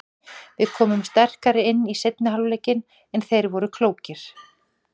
Við komum sterkari inn í seinni hálfleikinn en þeir voru klókir.